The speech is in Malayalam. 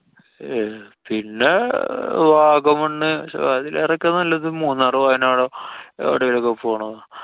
ഏർ പിന്നെ വാഗമണ്ണ് പക്ഷെ അതിലേറെ ഒക്കെ നല്ലത് മൂന്നാറ്, വയനാടോ എവടെലോക്കെ പോണതാ.